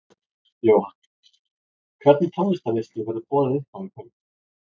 Jóhann: Hvernig tónlistarveislu verður boðið upp á í kvöld?